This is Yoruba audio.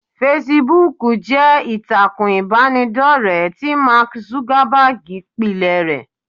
Fesibúùkù jẹ́ ìtàkùn ìbánidọ́rẹ̀ẹ́ tí Mark Zuckerberg pilẹ̀ rẹ.